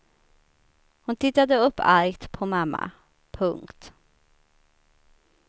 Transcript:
Hon tittade upp argt på mamma. punkt